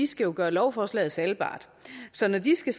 skal jo gøre lovforslaget salgbart så når de skal